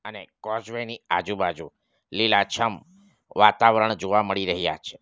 અને કોઝવે ની આજુબાજુ લીલાછમ વાતાવરણ જોવા મળી રહ્યા છે.